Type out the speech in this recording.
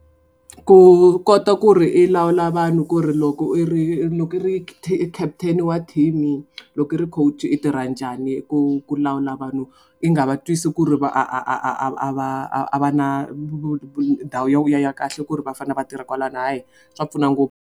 Ku kota ku ri i lawula vanhu ku ri loko i ri loko i ri captain wa team-i loko i ri coach i tirha njhani ku ku lawula vanhu i nga va twisi ku ri va a a a a a va a a va na ndhawu ya kahle ku ri va fane va tirha kwalano hayi swa pfuna ngopfu.